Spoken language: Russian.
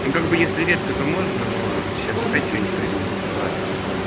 как бы если редко то можно но сейчас опять что-нибудь придумаете ладно